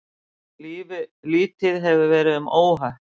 Lítið hefur verið um óhöpp